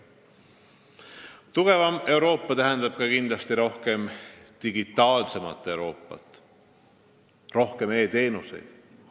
Tugevam Euroopa tähendab kindlasti ka digitaalsemat Euroopat, rohkem e-teenuseid.